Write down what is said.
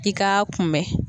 I k'a kunbɛn.